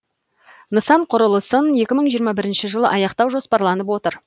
нысан құрылысын екі мың жиырма бірінші жылы аяқтау жоспарланып отыр